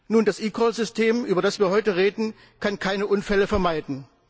Nun, das eCall System, über das wir heute reden, kann keine Unfälle vermeiden.